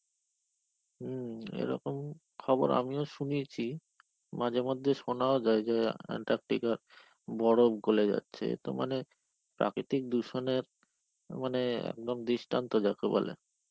হম, এরকম খবর আমিও শুনেছি. মাঝে মধ্যে শোনাও যায় যে Antarctica র বরফ গোলে যাচ্ছে. তো মানে, প্রাকৃতিক দূষণের মানে একদম দৃষ্টান্ত যাকে বলে.